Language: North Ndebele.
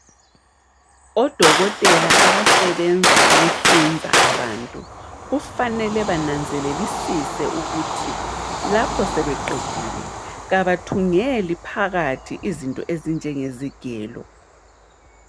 Odokotela abasebenza ukuhlinza abantu kufanele bananzelelisise ukuthi lapho sebeqedile abathungeli phakathi izinto ezinjengezigelo.